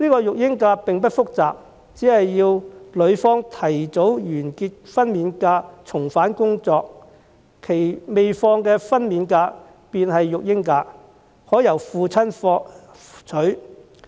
育嬰假並不複雜，只要女方提早完結分娩假重返工作，其未放取的分娩假便會成為育嬰假，可由父親放取。